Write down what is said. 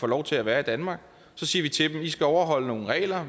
lov til at være i danmark og så siger vi til dem at de skal overholde nogle regler